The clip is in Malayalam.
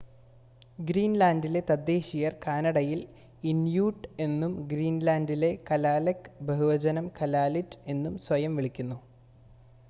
ഗ്രീൻ‌ലാൻ‌ഡിലെ തദ്ദേശീയർ‌ കാനഡയിൽ ഇൻ‌യൂട്ട് എന്നും ഗ്രീൻ‌ലാൻ‌ഡിൽ കലാലെക്ക് ബഹുവചനം കലാലിറ്റ് എന്നും സ്വയം വിളിക്കുന്നത്